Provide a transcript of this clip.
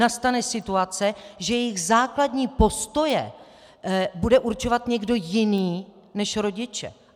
nastane situace, že jejich základní postoje bude určovat někdo jiný než rodiče.